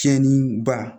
Tiɲɛniba